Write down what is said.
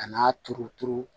A n'a turuturu